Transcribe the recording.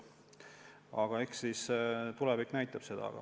Aga eks tulevik näitab.